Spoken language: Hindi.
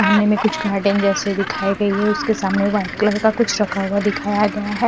सामने में कुछ गार्डन जैसे दिखाई गई हैं उसके समाने वाइट कलर का कुछ रखा हुआ दिखाया गया है।